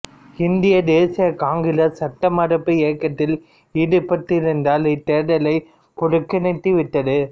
இந்திய தேசிய காங்கிரசு சட்டமறுப்பு இயக்கத்தில் ஈடுபட்டிருந்ததால் இத்தேர்தலைப் புறக்கணித்து விட்டது